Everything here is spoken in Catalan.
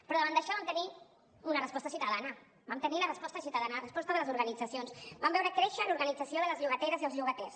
però davant d’això vam tenir una resposta ciutadana vam tenir la resposta ciutadana la resposta de les organitzacions vam veure créixer l’organització de les llogateres i els llogaters